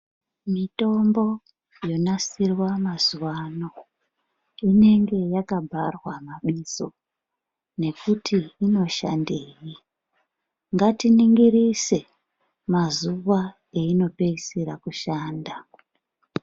Mitombo yonasirwa mazuwa ano inenge yakabharwa mabizo nekuti inoshandei. Ngatiningirise mazuwa einopeisira kushanda.